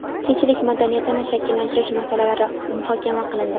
tinchlik madaniyatini shakllantirish masalalari muhokama qilindi.